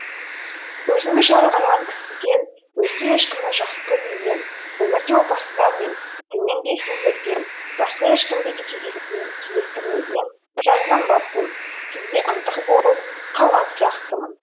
өзімді жарылқаған кісіден өзге ешкімді жақсы көрмеген өмірде опасыздар мен діннен безгендерден басқа ешкімді де кездестірмеген жазған басым сізге ынтық болып қалған сияқтымын